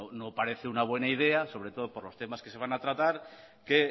bueno no parece una buena idea sobre todo por los temas que se van a tratar que